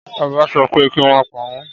Ọba sọ pé, kí wọ́n pa wọ́n!